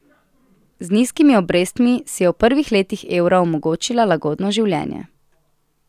Z nizkimi obrestmi si je v prvih letih evra omogočila lagodno življenje.